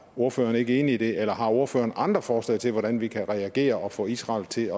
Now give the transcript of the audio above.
ordføreren ikke enig i det eller har ordføreren andre forslag til hvordan vi kan reagere og få israel til